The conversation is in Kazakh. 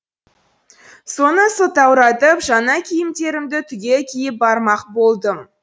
соны сылтауратып жаңа киімдерімді түгел киіп бармақ болдым